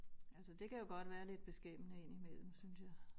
Altså det kan jo godt være lidt beskæmmende indimellem synes jeg